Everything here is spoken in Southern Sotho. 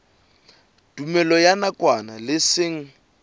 tumellano ya nakwana le seng